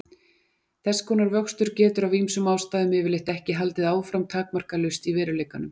Þess konar vöxtur getur af ýmsum ástæðum yfirleitt ekki haldið áfram takmarkalaust í veruleikanum.